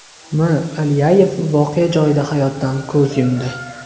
M. Alyayev voqea joyida hayotdan ko‘z yumdi.